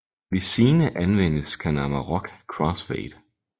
Hvis Xine anvendes kan Amarok crossfade